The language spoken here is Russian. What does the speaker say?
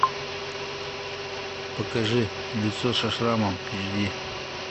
покажи лицо со шрамом эйч ди